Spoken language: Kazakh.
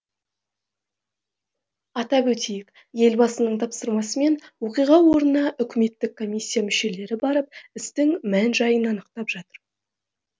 атап өтейік елбасының тапсырмасымен оқиға орнына үкіметтік комиссия мүшелері барып істің мән жайын анықтап жатыр